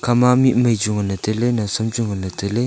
ma mikmai chu nganley tailey nawsam chu nganley tailey.